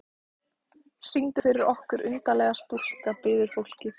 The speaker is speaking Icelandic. Syngdu fyrir okkur undarlega stúlka, biður fólkið.